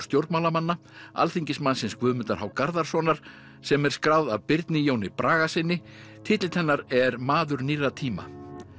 stjórnmálamanna alþingismannsins Guðmundar h Garðarssonar sem er skráð af Birni Jóni Bragasyni titill hennar er maður nýrra tíma